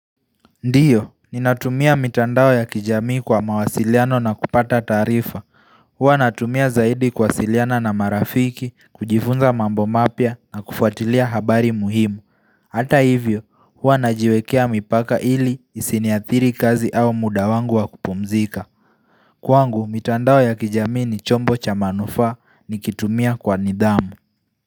Ndiyo, ninatumia mitandao ya kijamii kwa mawasiliano na kupata taarifa Huwa natumia zaidi kuwasiliana na marafiki, kujifunza mambo mapya na kufuatilia habari muhimu Hata hivyo, huwa najiwekea mipaka ili isiniathiri kazi au muda wangu wa kupumzika Kwangu, mitandao ya kijamii ni chombo cha manufaa nikitumia kwa nidhamu.